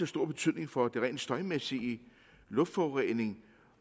stor betydning for det rent støjmæssige luftforureningen